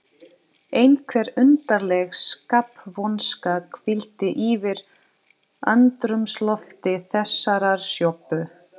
Einhver undarleg skapvonska hvíldi yfir andrúmslofti þessarar sjoppu.